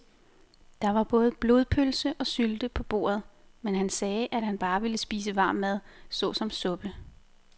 Der var både blodpølse og sylte på bordet, men han sagde, at han bare ville spise varm mad såsom suppe.